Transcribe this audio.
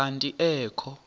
kanti ee kho